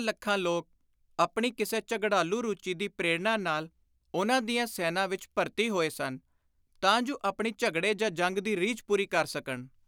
ਲੱਖਾਂ ਲੋਕ ਆਪਣੀ ਕਿਸੇ ਝਗੜਾਲੂ ਰੁਚੀ ਦੀ ਪ੍ਰੇਰਣਾ ਨਾਲ ਉਨ੍ਹਾਂ ਦੀਆਂ ਸੈਨਾਂ ਵਿਚ ਭਰਤੀ ਹੋਏ ਸਨ, ਤਾਂ ਜੁ ਆਪਣੀ ਝਗੜੇ ਜਾਂ ਜੰਗ ਦੀ ਰੀਝ ਪੂਰੀ ਕਰ ਸਕਣ।